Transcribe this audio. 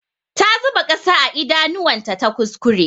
Ta zuba ƙasa a idanuwan ta ta kuskure.